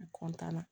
N na